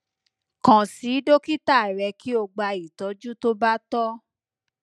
kan si dokita rẹ ki o gba itọju to ba tọ